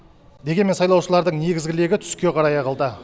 дегенмен сайлаушылардың негізгі легі түске қарай ағылды